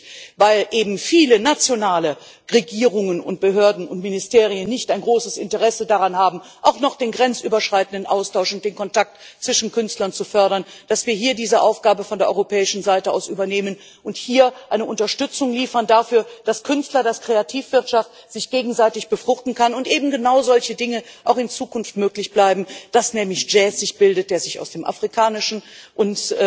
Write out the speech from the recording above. Gerade weil eben viele nationale Regierungen und Behörden und Ministerien kein großes Interesse daran haben, auch noch den grenzüberschreitenden Austausch und den Kontakt zwischen Künstlern zu fördern, ist es besonders wichtig, dass wir hier diese Aufgabe von der europäischen Seite aus übernehmen und hier eine Unterstützung dafür liefern, dass sich Künstler und die Kreativwirtschaft gegenseitig befruchten können und eben genau solche Dinge auch in Zukunft möglich bleiben, dass nämlich Jazz sich bildet, der sich aus afrikanischen und